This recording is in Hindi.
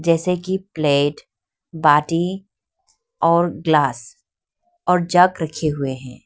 जैसे की प्लेट बाटी और ग्लास और जग रखे हुए है।